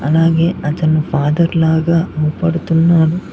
అలాగే అతను ఫాదర్ లాగా పడుతున్నాడు.